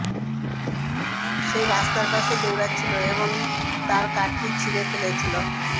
সে রাস্তার পাশে দৌড়াচ্ছিল এবং তার কাঁধটি ছিড়ে ফেলেছিল